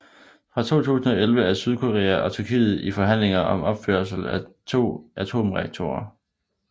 Fra 2010 er Sydkorea og Tyrkiet i forhandlinger om opførelse af to atomreaktorer